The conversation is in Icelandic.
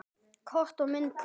Kort og myndir